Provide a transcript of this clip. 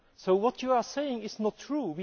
So what you are saying is not true.